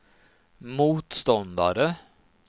motståndare